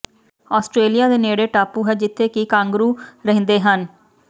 Australia ਦੇ ਨੇੜੇ ਟਾਪੂ ਹੈ ਜਿੱਥੇ ਕਿ ਕਾਂਗਰਾਓ ਰਹਿੰਦੇ ਹਨ